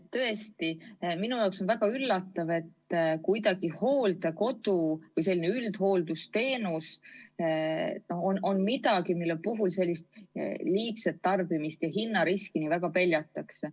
Tõesti, minu jaoks on väga üllatav, et hooldekoduteenus või selline üldhooldusteenus on midagi, mille puhul sellist liigset tarbimist ja hinnariski nii väga peljatakse.